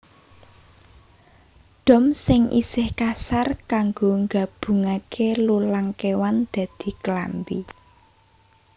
Dom sing isih kasar kanggo gabungake lulang kéwan dadi klambi